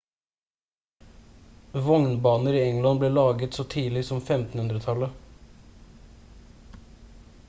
vognbaner i england ble laget så tidlig som 1500-tallet